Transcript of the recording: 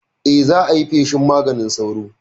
Eh, za ayi feshin maganin sauro